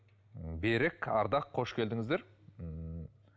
м берік ардақ қош келдіңіздер ммм